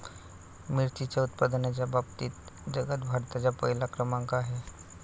मिरचीच्या उत्पादनाच्या बाबतीत जगात भारताचा पहिला क्रमांक आहे.